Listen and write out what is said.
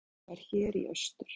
Dennis var hér í austur.